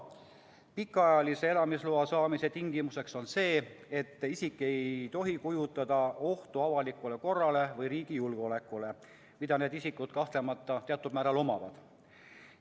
Pikaajalise elamisloa saamise tingimuseks on see, et isik ei tohi kujutada endast ohtu avalikule korrale või riigi julgeolekule, mida need isikud kahtlemata teatud määral kujutavad.